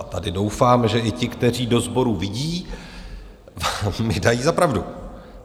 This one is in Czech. A tady doufám, že i ti, kteří do sboru vidí, mi dají za pravdu.